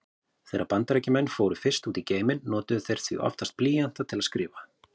Þegar Bandaríkjamenn fóru fyrst út í geiminn notuðu þeir því oftast blýanta til að skrifa.